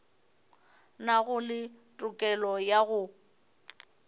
nago le tokelo ya go